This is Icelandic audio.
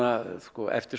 eftir